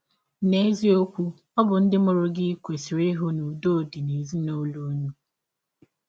N’eziọkwụ, ọ bụ ndị mụrụ gị kwesịrị ịhụ na ụdọ dị n’ụlọ ụnụ.